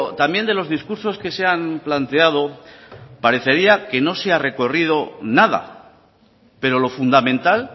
también de los discursos que se han planteado parecería que no se ha recorrido nada pero lo fundamental